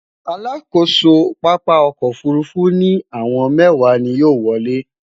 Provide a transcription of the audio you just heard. alákóso pápá ọkọ òfurufú ni àwọn mẹwa ni yóò wolè